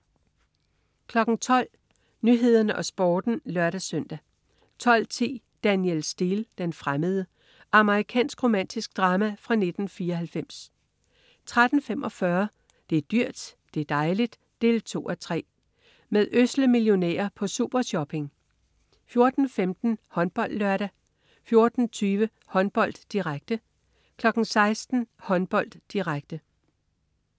12.00 Nyhederne og Sporten (lør-søn) 12.10 Danielle Steel: Den fremmede. Amerikansk romantisk drama fra 1994 13.45 Det er dyrt, det er dejligt! 2:3. Med ødsle millionærer på super-shopping 14.15 HåndboldLørdag 14.20 Håndbold, direkte 16.00 Håndbold, direkte